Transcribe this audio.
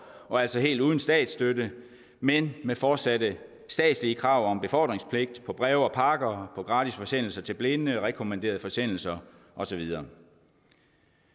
og altså helt uden statsstøtte men med fortsatte statslige krav om befordringspligt på breve og pakker gratis forsendelser til blinde rekommanderede forsendelser og så videre